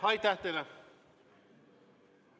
Aitäh teile!